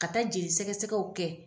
Ka taa jeli sɛgɛsɛgɛw kɛ.